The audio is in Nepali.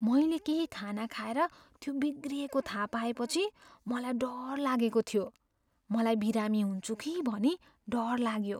मैले केही खाना खाएर त्यो बिग्रिएको थाहा पाएपछि मलाई डर लागेको थियो। मलाई बिरामी हुन्छु कि भनी डर लाग्यो।